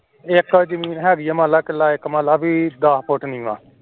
ਇਕ ਜਮੀਨ ਹੇਗੀ ਏ ਮਨ ਲੈ ਕਿਲ੍ਹਾ ਇਕ ਮਨ ਲੈ ਬੀ ਦੱਸ ਫੁਟ ਨੀਵਾਂ